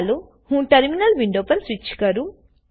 ચાલો હું terminal window પર સ્વીચ કરું